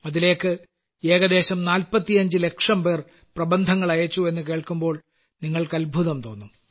അതിലേയ്ക്ക് ഏകദേശം 45 ലക്ഷംപേർ പ്രബന്ധങ്ങൾ അയച്ചു എന്നു കേൾക്കുമ്പോൾ നിങ്ങൾക്ക് അത്ഭുതം തോന്നും